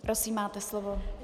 Prosím, máte slovo.